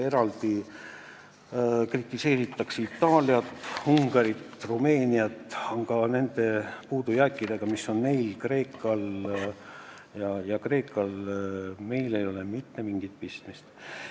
Eraldi kritiseeritakse Itaaliat, Ungarit ja Rumeeniat, aga nende puudujääkidega, mis on neil ja Kreekal, ei ole meil mitte mingit pistmist.